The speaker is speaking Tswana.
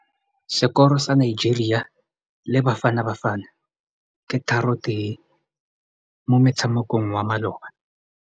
Sekôrô sa Nigeria le Bafanabafana ke 3-1 mo motshamekong wa malôba.